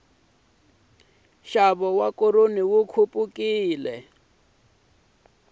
nxavo wa koroni wu khupukile